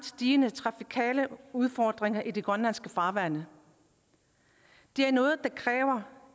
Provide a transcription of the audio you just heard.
stigende trafikale udfordringer i de grønlandske farvande er noget der kræver